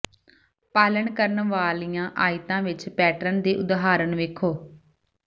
ਪਾਲਣ ਕਰਨ ਵਾਲੀਆਂ ਆਇਤਾਂ ਵਿੱਚ ਪੈਟਰਨ ਦੇ ਉਦਾਹਰਣ ਵੇਖੋ